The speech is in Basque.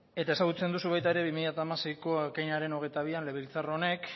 eta ezagutzen duzu baita ere bi mila hamaseiko ekainaren hogeita bian legebiltzar honek